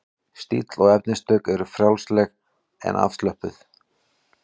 Stíll og efnistök eru frjálsleg og afslöppuð.